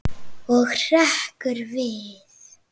Og hrekkur við.